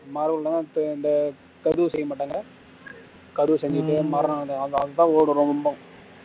இந்த பதிவு செய்ய மாட்டாங்க